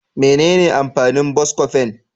Menene amfanin " Buscofen "?